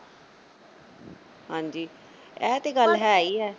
ਹਾਂਜੀ ਐ ਤਾ ਗੱਲ ਹੈ ਈ ਐ